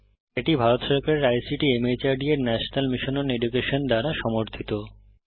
এটি ভারত সরকারের আইসিটি মাহর্দ এর ন্যাশনাল মিশন ওন এডুকেশন দ্বারা সমর্থিত